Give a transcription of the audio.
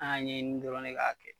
An y'a ɲɛɲini ne dɔrɔn k'a kɛ